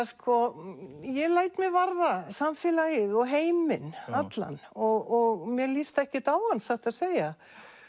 sko ég læt mig varða samfélagið og heiminn allan og mér líst ekkert á hann satt að segja